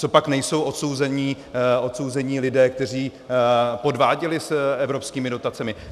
Copak nejsou odsouzení lidé, kteří podváděli z evropskými dotacemi?